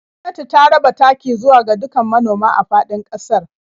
Gwamnati ta raba taki zuwa ga dukkan manoma a faɗin ƙasar.